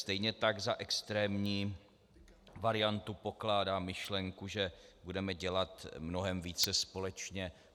Stejně tak za extrémní variantu pokládám myšlenku, že budeme dělat mnohem více společně.